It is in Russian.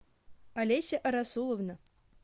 олеся расуловна